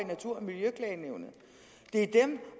i natur og miljøklagenævnet det er dem